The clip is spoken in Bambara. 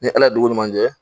Ni Ala ye dugu ɲuman jɛ